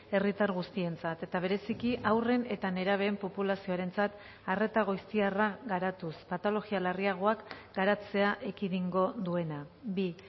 herritar guztientzat eta bereziki haurren eta nerabeen populazioarentzat arreta goiztiarra garatuz patologia larriagoak garatzea ekidingo duena bi